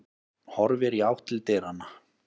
Horfir í átt til dyranna.